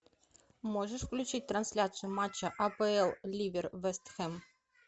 можешь включить трансляцию матча апл ливер вест хэм